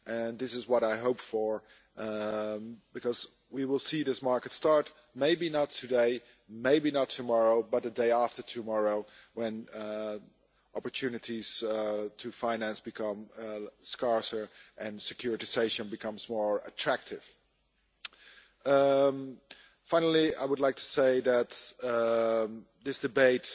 This is what I hope for, because we will see these markets start maybe not today, maybe not tomorrow, but the day after tomorrow, when opportunities to finance become scarcer and securitisation becomes more attractive. Finally, I would like to say that this debate